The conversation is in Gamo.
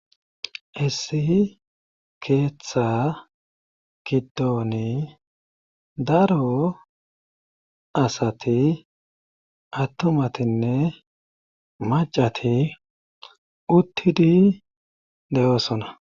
issi keeththa giddoni daro asati attumatinne macati uttidi deyoosona